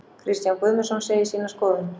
Kristján Guðmundsson segir sína skoðun.